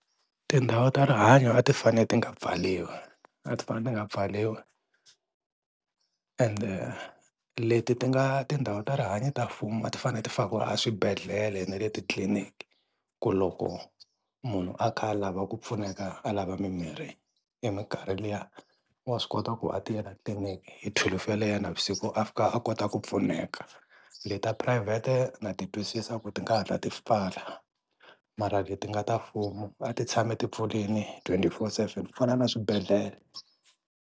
Tindhawu ta rihanyo a ti fanee ti nga pfariwi a ti fane ti nga pfariwi ende leti ti nga tindhawu ta rihanyo ta mfumu a ti fane ti fakiwa a swibedhlele na le tliliniki ku loko munhu a kha a lava ku pfuneka a lava mimirhi hi minkarhi liya wa swi kota ku a ta la tlininiki hi thwelufu yeleyo ya navusiku a fika a kota ku pfuneka. Leti ta phurayivhete na ti twisisa ku ti nga hatla ti pfala mara leti nga ta mfumo a ti tshami ti pfulini twenty-four seven ku fana na swibedhlele.